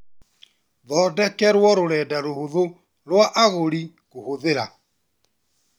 Thondekerwo rũrenda rũhuthũ rwa agũri kũhũthĩra